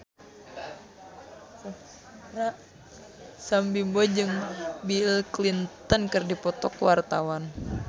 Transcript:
Sam Bimbo jeung Bill Clinton keur dipoto ku wartawan